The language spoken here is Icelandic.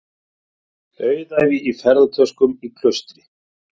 Auðæfi í ferðatöskum í klaustri